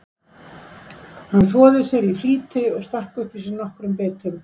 Hann þvoði sér því í flýti og stakk upp í sig nokkrum bitum.